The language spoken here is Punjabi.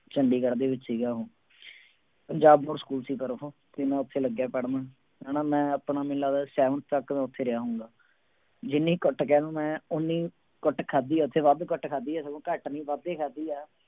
ਚੰਡੀਗੜ੍ਹ ਦੇ ਵਿੱਚ ਸੀਗਾ ਪੰਜਾਬ ਬੋਰਡ ਸਕੂਲ ਸੀ ਪਰ ਉਹ ਤੇ ਮੈਂ ਉੱਥੇ ਲੱਗਿਆ ਪੜ੍ਹਨ ਹਨਾ ਮੈਂ ਆਪਣਾ ਮੈਨੂੰ ਲੱਗਦਾ seventh ਤੱਕ ਮੈਂ ਉੱਥੇ ਰਿਹਾ ਹੋਊਂਗਾ, ਜਿੰਨੀ ਕੁੱਟ ਕਹਿ ਲਓ ਮੈਂ ਓਨੀ ਕੁੱਟ ਖਾਧੀ ਹੈ ਉੱਥੇ ਵੱਧ ਕੁੱਟ ਖਾਧੀ ਹੈ ਸਗੋਂ ਘੱਟ ਨੀ ਵੱਧ ਹੀ ਖਾਧੀ ਹੈ।